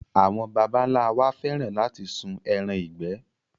Àwọn baba ńlá wa fẹ́ràn láti sún ẹran ìgbẹ́.